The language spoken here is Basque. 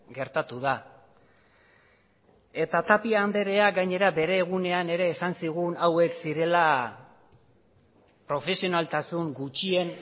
gertatu da eta tapia andrea gainera bere egunean ere esan zigun hauek zirela profesionaltasun gutxien